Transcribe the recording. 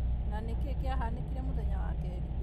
Na nĩ kĩĩ kĩahanĩkire mũthenya wa kerĩ?